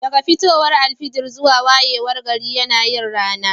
Daga fitowar alfijir zuwa wayewar gari yana yin rana